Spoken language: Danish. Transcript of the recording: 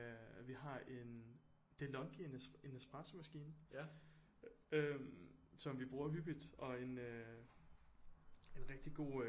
Vi har en Delonghi en espressomaskine som vi bruger hyppigt og en øh en rigtig god øh